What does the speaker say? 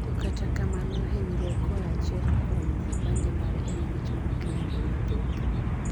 "To kata kamano, hinyruok koa achiel kuom vipande mare en wach ma oknyalre mathoth.